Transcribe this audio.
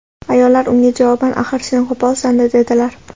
Ayollar unga javoban: "Axir sen qo‘polsan-da", dedilar.